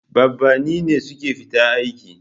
Babanni ne suke fita aiki.